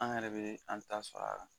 An yɛrɛ bɛ an ta sɔrɔ a la